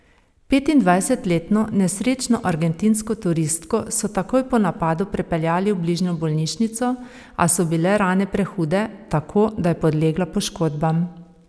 Petindvajsetletno nesrečno argentinsko turistko so takoj po napadu prepeljali v bližnjo bolnišnico, a so bile rane prehude, tako da je podlegla poškodbam.